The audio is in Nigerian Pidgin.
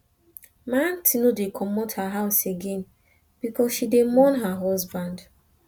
my aunty no dey comot her house again because she dey mourn her husband